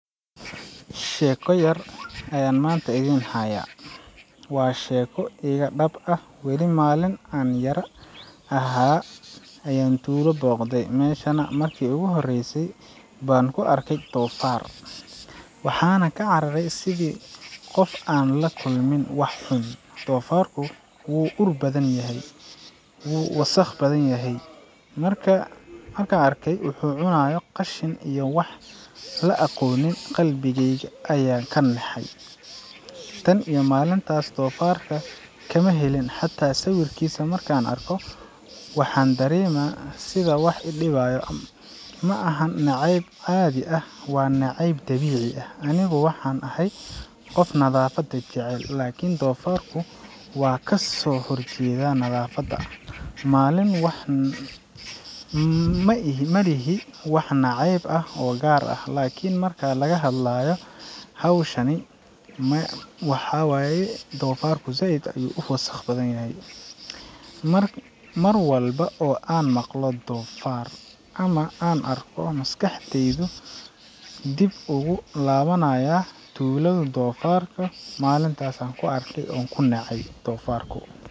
Sheeko yar ayaan maanta idiin hayaa. Waa sheeko iga dhab ah weli maalin aan yar ahaa ayaan tuulo booqday, meeshana markii ugu horreysay baan ku arkay doofaar. Waxaan ka cararay sidii qof aan la kulmin wax xun. Doofaarku wuu ur badnaa, wuu wasakh badan yahay, markaan arkay wuxuu cunayo qashin iyo wax la aqoonin qalbigayga ayaa ka naxay. Tan iyo maalintaas, doofaarka kama helin, xataa sawirkiisa marka aan arko waxaan dareemaa sida wax i dhibaya. Maaha neceyb caadi ah, waa neceyb dabiici ah. Anigu waxaan ahay qof nadaafad jecel, laakiin doofaarku waa ka soo horjeedaa nadaafadda. Malin wax ma ihi Ma lihi wax nacayb ah oo gaar ah, laakiin marka laga hadlayo xayawaankaas maya, isagu ma aha mid aan jeclahay. Mar walba oo aan maqlo doofaar ama aan arko, maskaxdaydu dib ugu laabanaya tuuladu, doofaarka, malintaas aan ku arkay.